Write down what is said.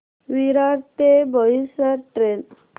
विरार ते बोईसर ट्रेन